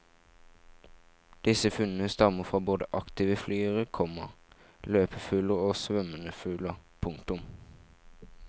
Disse funnene stammer fra både aktive flygere, komma løpefugler og svømmende fugler. punktum